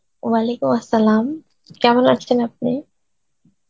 Arbi কেমন আছেন আপনি?